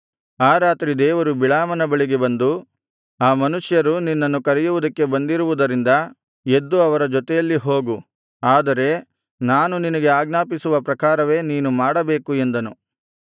ಆ ರಾತ್ರಿ ದೇವರು ಬಿಳಾಮನ ಬಳಿಗೆ ಬಂದು ಆ ಮನುಷ್ಯರು ನಿನ್ನನ್ನು ಕರೆಯುವುದಕ್ಕೆ ಬಂದಿರುವುದರಿಂದ ಎದ್ದು ಅವರ ಜೊತೆಯಲ್ಲಿ ಹೋಗು ಆದರೆ ನಾನು ನಿನಗೆ ಆಜ್ಞಾಪಿಸುವ ಪ್ರಕಾರವೇ ನೀನು ಮಾಡಬೇಕು ಎಂದನು